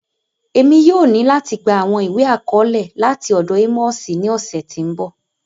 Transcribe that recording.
Emi yóò ni lati gba awọn iwe-akọọlẹ lati ọdọ Amosi ni ọsẹ ti n bọ